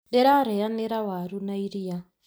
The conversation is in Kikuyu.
Ndĩra rĩanĩra waru na iria